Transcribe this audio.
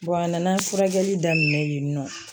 a nana furakɛli daminɛ yen nɔ